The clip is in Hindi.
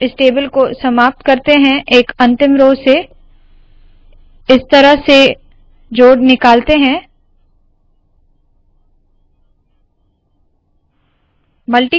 हम इस टेबल को समाप्त करते है एक अंतिम रोव से इस तरह से जोड़ निकालते है